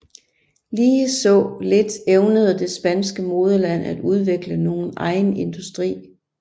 Ligeså lidt evnede det spanske moderland at udvikle nogen egen industri